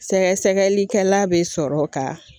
Sɛgɛsɛgɛlikɛla bɛ sɔrɔ ka